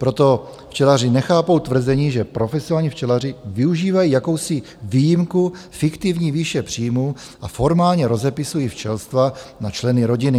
Proto včelaři nechápou tvrzení, že profesionální včelaři využívají jakousi výjimku fiktivní výše příjmů a formálně rozepisují včelstva na členy rodiny.